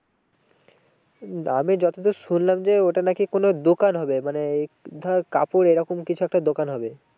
আমি যত দূর শুনলাম যে ওইটা নাকি কোনো দোকান হবে মানে এই ধর কাপড় এরকম কিছু একটা দোকান হবে।